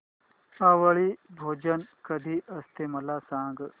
आवळी भोजन कधी असते मला सांग